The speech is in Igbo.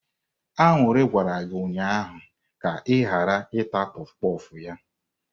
Aṅụrị gwara gị ụnyahụ ka ị ghara ịta kpof kpof ya!